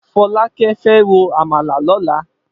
Folake fè ró ámàlá lòlá